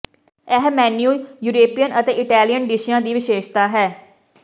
ਇਹ menu European ਅਤੇ Italian ਡਿਸ਼ਿਆਂ ਦੀ ਵਿਸ਼ੇਸ਼ਤਾ ਹੈ